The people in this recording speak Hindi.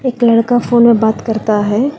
एक लड़का फोन में बात करता है।